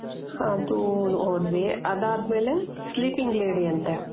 ಅದು ಹೋದ್ವಿ ಅದಾದಮೇಲೆ sleeping lady ಅಂತೆ .